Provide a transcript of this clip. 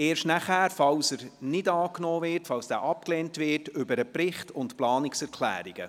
Erst danach, falls dieser abgelehnt wird, sprechen wir über den Bericht und die Planungserklärungen.